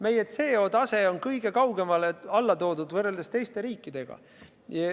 Meie CO2 tase on kõige rohkem alla toodud võrreldes teiste riikidega.